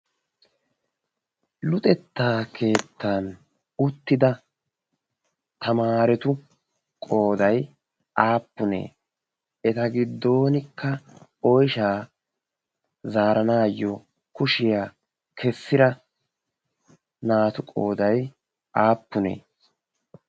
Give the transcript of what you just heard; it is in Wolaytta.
luxettaa keettan uttida tamaaretu qooday aappunee eta giddonkka oyshaa zaaranaayyo kushiyaa kessira naatu qooday aappunee?